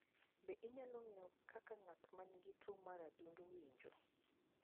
Be inyalo ng'eyo kaka ng'at ma nigi tuwo mar adundo winjo?